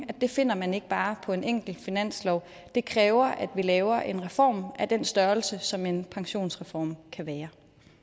at det finder man ikke bare på en enkelt finanslov det kræver at vi laver en reform af den størrelse som en pensionsreform kan være